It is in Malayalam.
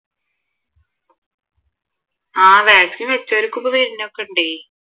ആഹ് vaccine വെച്ചവർക്കും ഇപ്പൊ വരുന്നൊക്കെയേണ്ടെയ്